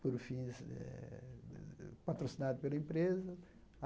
por fim, eh patrocinado pela empresa.